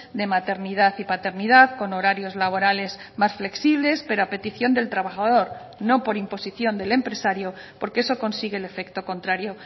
de maternidad y paternidad con horarios laborales más flexibles pero a petición del trabajador no por imposición del empresario porque eso consigue el efecto contrario